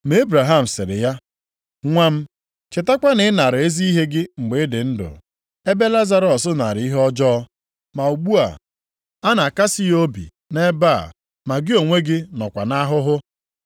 “Ma Ebraham sịrị ya, ‘Nwa m, chetakwa na ị nara ezi ihe gị mgbe ị dị ndụ, ebe Lazarọs nara ihe ọjọọ. Ma ugbu a, a na-akasị ya obi nʼebe a ma gị onwe gị nọkwa nʼahụhụ.